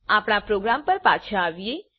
આપણા પ્રોગ્રામ પર પાછા આવીએ